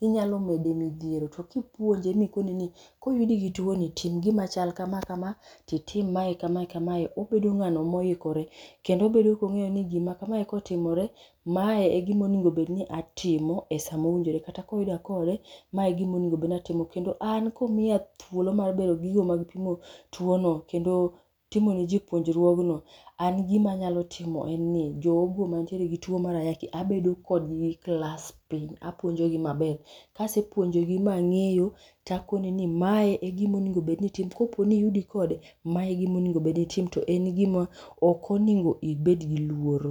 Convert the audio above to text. inyalo mede midhiero to kipuonje mikone ni koyudi gi tuoni, tim gima chal kama kama, kendo obedo kong'eyo ni gima kamae kotimore, mae e gima onego bed ni atimo esa mowinjore kata ka oyuda kode, mae e gima onego bed ni atimo. Kendo an komiya thuolo mar bedo giyo mar pimo tuono, kendo timo niji puonjruogno, an gima anyalo timo en ni jogo mantie gituo mar ayaki abedo kodgi gi klas piny apuonjogi maber. Ka asepuonjogi ma ang'eyo, to akone ni mae e gima on ego bed ni itimo kopo ni oyudi kode, mae e gima onego bed ni itimo to ok on ego bed ni in gi luoro.